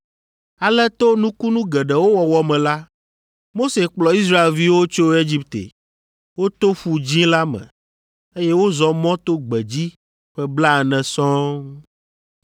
Ale to nukunu geɖewo wɔwɔ me la, Mose kplɔ Israelviwo tso Egipte. Woto Ƒu Dzĩ la me, eye wozɔ mɔ to gbedzi ƒe blaene sɔŋ.